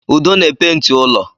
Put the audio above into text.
Udo na-epenti ụlọ